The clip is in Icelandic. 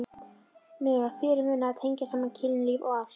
Mér var fyrirmunað að tengja saman kynlíf og ást.